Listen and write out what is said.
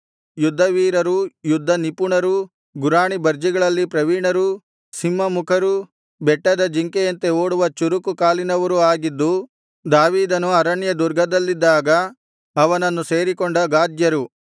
ಯುದ್ಧವೀರರೂ ಯುದ್ಧನಿಪುಣರೂ ಗುರಾಣಿಬರ್ಜಿಗಳಲ್ಲಿ ಪ್ರವೀಣರೂ ಸಿಂಹಮುಖರೂ ಬೆಟ್ಟದ ಜಿಂಕೆಯಂತೆ ಓಡುವ ಚುರುಕು ಕಾಲಿನವರು ಆಗಿದ್ದು ದಾವೀದನು ಅರಣ್ಯ ದುರ್ಗದಲ್ಲಿದ್ದಾಗ ಅವನನ್ನು ಸೇರಿಕೊಂಡ ಗಾದ್ಯರು